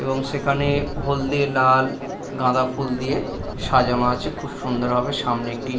এবং সেখানে হলদে লাল গাঁদা ফুল দিয়ে-এ সাজানো আছে খুব সুন্দর ভাবে সামনে একটি--